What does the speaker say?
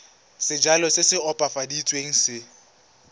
sejalo se se opafaditsweng se